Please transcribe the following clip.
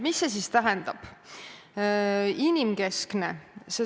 Mida see siis tähendab?